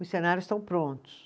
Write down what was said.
Os cenários estão prontos.